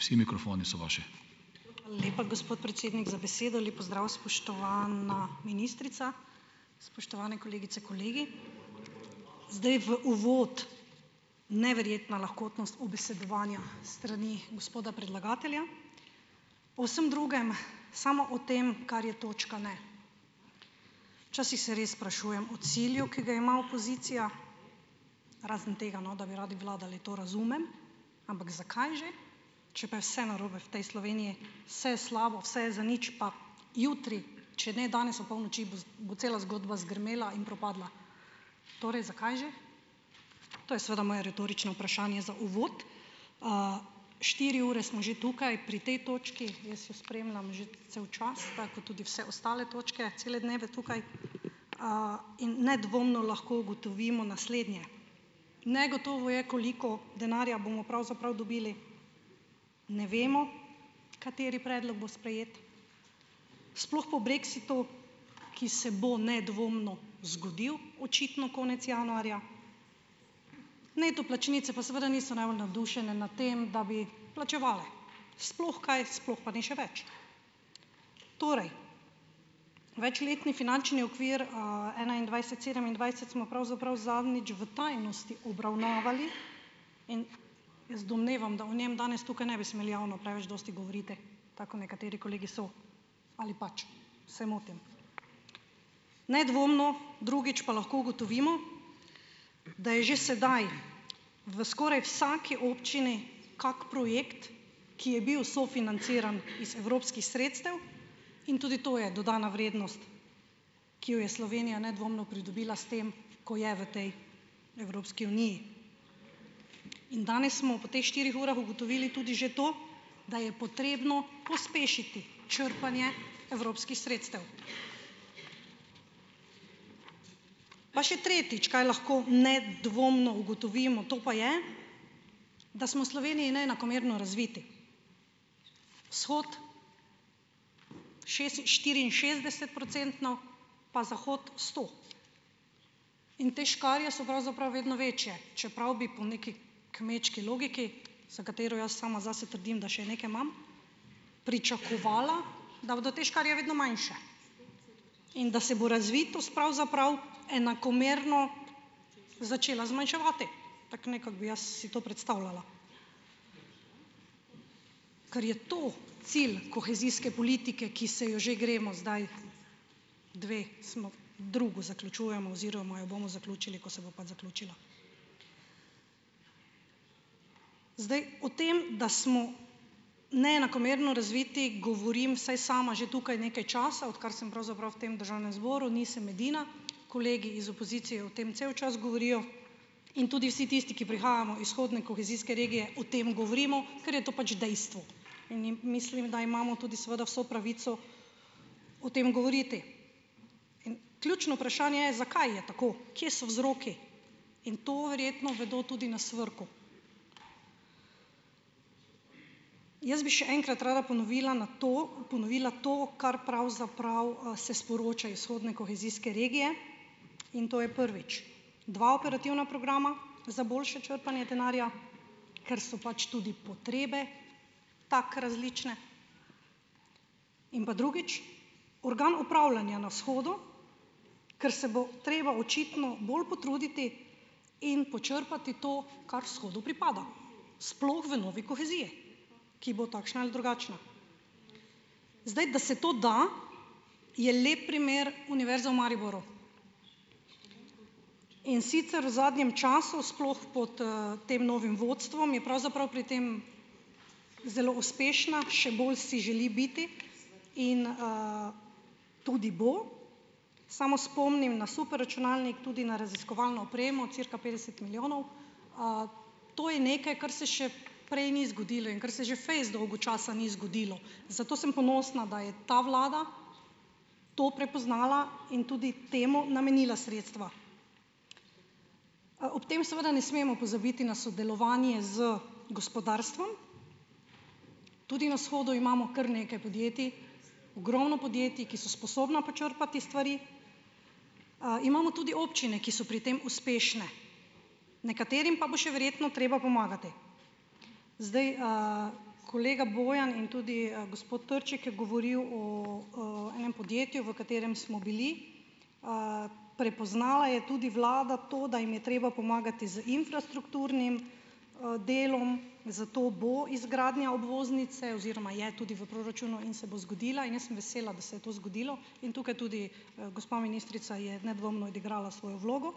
Lepa, gospod predsednik za besedo. Lep pozdrav, spoštovana ministrica, spoštovane kolegice in kolegi. Zdaj v uvod, neverjetna lahkotnost ubesedovanja s strani gospoda predlagatelja, o vsem drugem samo o tem, kar je točka, ne. Včasih se res sprašujem o cilju, ki ga ima opozicija, razen tega, no, da bi radi vladali to razumem, ampak zakaj že? Če pa je vse narobe v tej Sloveniji, vse je slabo, vse je zadnjič pa jutri, če ne danes opolnoči, bo bo cela zgodba zgrmela in propadla, torej zakaj že? To je seveda moje retorično vprašanje za uvod. Štiri ure smo že tukaj pri tej točki, jaz jo spremljam že cel čas, tako kot tudi vse ostale točke, cele dneve tukaj, in nedvomno lahko ugotovimo naslednje. Negotovo je, koliko denarja bomo pravzaprav dobili, ne vemo, kateri predlog bo sprejet, sploh po brexitu, ki se bo nedvomno zgodil, očitno konec januarja, neto plačnice pa seveda niso najbolj navdušene nad tem, da bi plačevale, sploh kaj, sploh pa ne še več. Torej, večletni finančni okvir, enaindvajset-sedemindvajset smo pravzaprav zadnjič v tajnosti obravnavali in jaz domnevam, da o njem danes tukaj ne bi smeli javno preveč dosti govoriti, tako kot nekateri kolegi so, ali pač se motim? Nedvomno, drugič pa lahko ugotovimo, da je že sedaj v skoraj vsak občini kak projekt, ki je bil sofinanciran iz evropskih sredstev, in tudi to je dodana vrednost, ki jo je Slovenija nedvomno pridobila s tem, ko je v tej Evropski Uniji, in danes smo po teh štirih urah ugotovili tudi že to, da je potrebno pospešiti črpanje evropskih sredstev. Pa še tretjič, kaj lahko nedvomno ugotovimo, to pa je, da smo v Sloveniji neenakomerno razviti, vzhod štiriinšestdesetprocentno pa zahod sto. in te škarje so pravzaprav vedno večje, čeprav bi po neki kmečki logiki, za katero jaz sama zase trdim, da še nekaj imam, pričakovala, da bodo te škarje vedno manjše in da se bo razvitost pravzaprav enakomerno začela zmanjševati, tako nekako bi jaz si to predstavljala. Ker je to cilj kohezijske politike, ki se jo že gremo zdaj, dve smo, drugo zaključujemo oziroma jo bomo zaključili, ko se bo pač zaključila. Zdaj, o tem, da smo neenakomerno razviti, govorim, vsaj sama že tukaj nekaj časa, odkar sem pravzaprav v tem državnem zboru, nisem edina, kolegi iz opozicije o tem cel čas govorijo, in tudi vsi tisti, ki prihajamo iz vzhodne kohezijske regije, o tem govorimo, ker je to pač dejstvo, in in mislim, da imamo tudi seveda vso pravico o tem govoriti. Ključno vprašanje je, zakaj je tako? Kje so vzroki? In to verjetno vedo tudi na SVRK-u, jaz bi še enkrat rada ponovila na to, ponovila to, kar pravzaprav, se sporoča iz vzhodne kohezijske regije, in to je, prvič, dva operativna programa za boljše črpanje denarja, ker so pač tudi potrebe tako različne. In pa drugič, organ upravljanja na vzhodu, ker se bo treba očitno bolj potruditi, in počrpati to kar vzhodu pripada, sploh v novi koheziji, ki bo takšna ali drugačna. Zdaj, da se to da je lep primer Univerza v Mariboru, in sicer v zadnjem času, sploh pod, tem novim vodstvom, je pravzaprav pri tem zelo uspešna, še bolj si želi biti in, tudi bo, samo spomnim na superračunalnik, tudi na raziskovalno opremo cirka petdeset milijonov, to je nekaj, kar se še prej ni zgodilo in kar se že fejst dolgo časa ni zgodilo, zato sem ponosna, da je ta vlada to prepoznala in tudi temu namenila sredstva. Ob tem seveda ne smemo pozabiti na sodelovanje z gospodarstvom, tudi na vzhodu imamo kar nekaj podjetij, ogromno podjetij, ki so sposobna počrpati stvari, imamo tudi občine, ki so pri tem uspešne, nekaterim pa bo še verjetno potrebno pomagati. Zdaj, kolega Bojan in tudi gospod Trček je govoril o, enem podjetju, v katerem smo bili. Prepoznala je tudi vlada to, da jim je treba pomagati z infrastrukturnim, delom, zato bo izgradnja obvoznice oziroma je tudi v proračunu in se bo zgodila, in jaz sem vesela, da se je to zgodilo. In tukaj tudi, gospa ministrica je nedvomno odigrala svojo vlogo,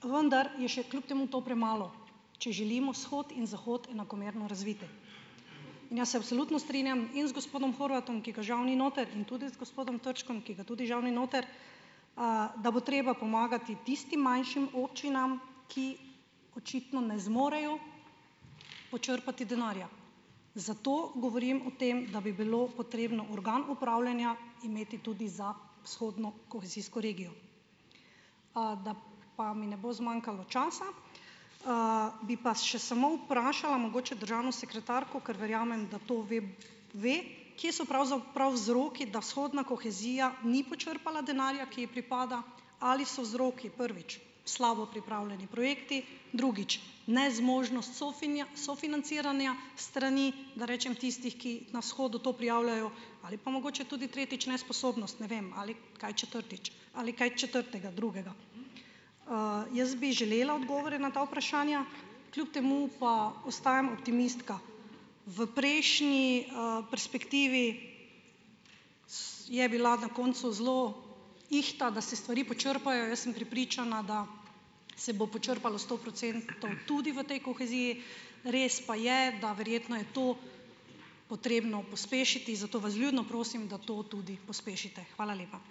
vwndar je še kljub temu to premalo, če želimo vzhod in zahod enakomerno razviti. In jaz se absolutno strinjam in z gospodom Horvatom, ki ga žal ni noter, in tudi z gospodom Trčkom, ki ga tudi žal ni noter, da bo treba pomagati tistim manjšim občinam, ki očitno ne zmorejo počrpati denarja. Zato govorim o tem, da bi bilo potrebno organ upravljanja imeti tudi za vzhodno kohezijsko regijo. Da pa mi ne bo zmanjkalo časa, bi pa še samo vprašala mogoče državno sekretarko, ker verjamem, da to ve. Ve. Kje so pravzaprav vzroki, da vzhodna kohezija ni počrpala denarja, ki ji pripada? Ali so vzroki, prvič, slabo pripravljeni projekti, drugič, nezmožnost sofinanciranja strani, da rečem tistih, ki na vzhodu to prijavljajo, ali pa mogoče tudi tretjič, nesposobnost, ne vem, ali kaj četrtič, ali kaj četrtega, drugega. Jaz bi želela odgovore na ta vprašanja. Kljub temu pa ostajam optimistka. V prejšnji, perspektivi je bila na koncu zelo ihta, da se stvari počrpajo. Jaz sem prepričana, da se bo počrpalo sto procentov tudi v tej koheziji. Res pa je, da verjetno je to potrebno pospešiti, zato vas vljudno prosim, da to tudi pospešite. Hvala lepa.